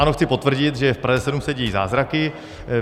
Ano, chci potvrdit, že v Praze 7 se dějí zázraky.